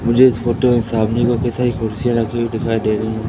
मुझे इस फोटो में सामने सारी कुर्सियां रखी हुई दिखाई दे रही हैं।